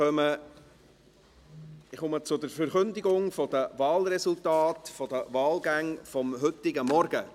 Ich komme zur Verkündigung der Wahlgänge des heutigen Morgens.